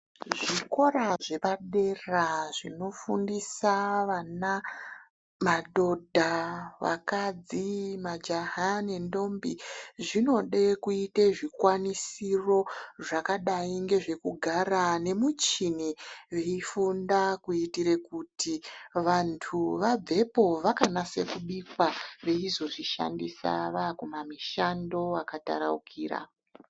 Zvikora zvepadera zvinofundisa vana, majaha ,ndombi ,madhodha nevakadzi zvinode kuite zvikwanisiro zvakadai ngezvekugara nemichini veifunda kuitire kuti vantu vabvepo vakanase kubika veizozvishandise vaakumamishando akataraukira.